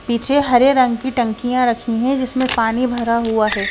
पीछे हरे रंग की टंकियां रखी हैं जिसमें पानी भरा हुआ है।